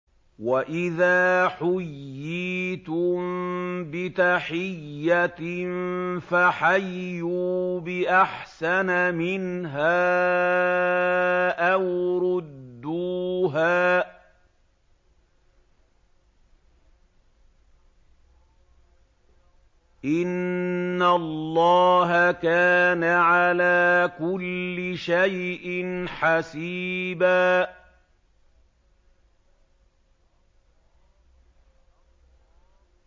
وَإِذَا حُيِّيتُم بِتَحِيَّةٍ فَحَيُّوا بِأَحْسَنَ مِنْهَا أَوْ رُدُّوهَا ۗ إِنَّ اللَّهَ كَانَ عَلَىٰ كُلِّ شَيْءٍ حَسِيبًا